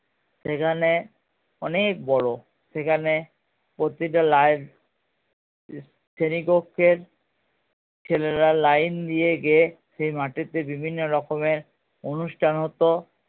সেখানে অনেক বড়ো সেখানে প্রতিটা শ্রেণীকক্ষে ছেলেরা line দিয়ে গিয়ে সেই মাঠেতে বিভিন্ন অনুষ্ঠান হতো